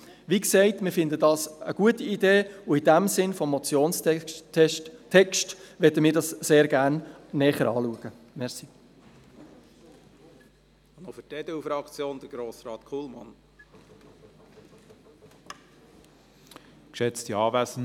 Wie gesagt, finden wir, das sei eine gute Idee, und möchten es, im Sinne des Motionstextes, sehr gerne näher anschauen.